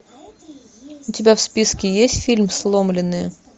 у тебя в списке есть фильм сломленные